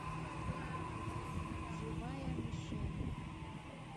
живая мишень